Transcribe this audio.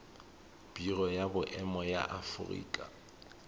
biro ya boemo ya aforika